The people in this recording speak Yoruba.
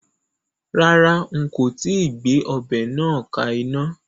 Rárá, n kò tíì gbé ọbẹ̀ náà ka iná